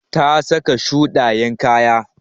Ta saka shuɗayen kaya.